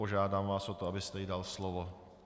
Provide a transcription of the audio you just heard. Požádám vás o to, abyste jí dal slovo.